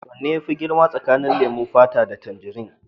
Wane ne yafi girma tsakanin leman fata da tangirin?